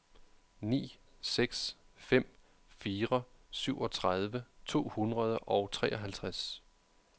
ni seks fem fire syvogtredive to hundrede og treoghalvtreds